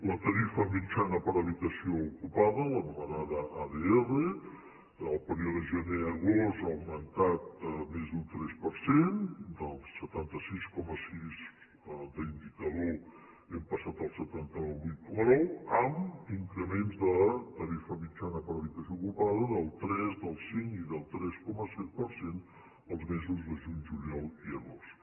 la tarifa mitjana per habitació ocupada l’anomenada adr en el període gener agost ha augmentat més d’un tres per cent del setanta sis coma sis d’indicador hem passat al setanta vuit coma nou amb increments de tarifa mitjana per habitació ocupada del tres del cinc i del tres coma set per cent els mesos de juny juliol i agost